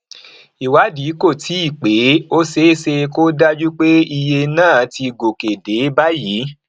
ìwádìí kò tíì pé ó ṣeé ṣe kó dájú pé iye náà ti gòkè dé báyìí